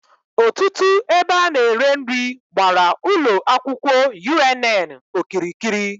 Otutu ebe a na-ere nri gbara Ulo akwukwo UNN okirikiri